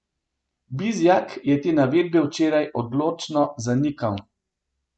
Bizjak je te navedbe včeraj odločno zanikal.